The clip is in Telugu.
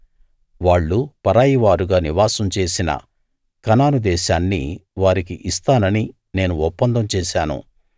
వాళ్ళు పరాయి వారుగా నివాసం చేసిన కనాను దేశాన్ని వారికి ఇస్తానని నేను ఒప్పందం చేశాను